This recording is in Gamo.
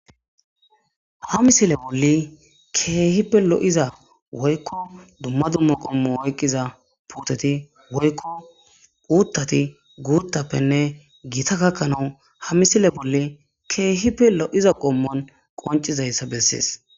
Ha misile boli kehipe lo'za woyko duma duma qomo oykiza puteti woyko utati gutapenne gita gakanawu ha misile boli kehipe lo'iza qommon qonc'izaysa beses.